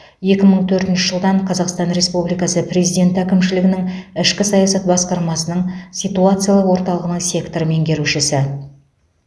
екі мың төртінші жылдан қазақстан республикасы президенті әкімшілігінің ішкі саясат басқармасының ситуациялық орталығының сектор меңгерушісі